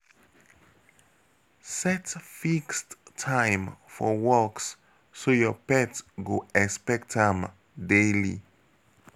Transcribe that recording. Set fixed time for walks so your pet go expect am daily.